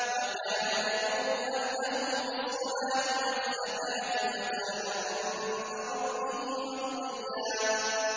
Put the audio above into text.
وَكَانَ يَأْمُرُ أَهْلَهُ بِالصَّلَاةِ وَالزَّكَاةِ وَكَانَ عِندَ رَبِّهِ مَرْضِيًّا